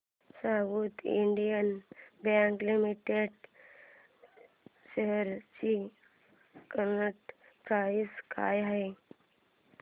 south Indian Bank Limited shares ची current price काय आहे